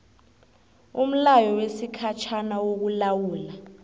umlayo wesikhatjhana wokulawula